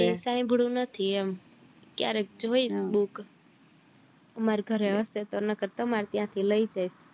સાંભળ્યું નથી એમ ક્યારે જોઈ છે book મારી ઘરે હયશે નકર તો તમારી ત્યાં થી લઇ જઈશ